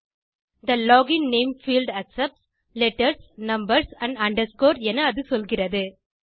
தே login name field accepts letters numbers amp underscore என அது சொல்கிறது